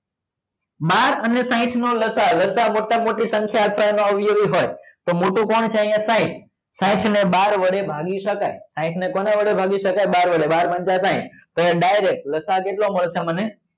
બાર અને સાહીંઠ નો લસા અ લસા અ મોટા માં મોટી સંખ્યા આપવા માં આવેલી હોય તો તો મોટું કોણ છે અહિયાં સાહીંઠ સાહીંઠ ને બાર વડે ભાગી સકાય સાહીંઠ ને કોના વડે ભાગી શકાય બાર વડે બાર પંચા સાહીંઠ તો અહિયાં direct લસા કેટલો મળશે મને